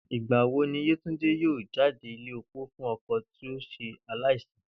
Ìgbà wo ni Yétúndé yóò jáde ilé opó fún o̩kò̩ tí ó s̩e aláìsí?